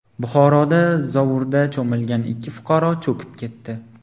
Buxoroda zovurda cho‘milgan ikki fuqaro cho‘kib ketdi.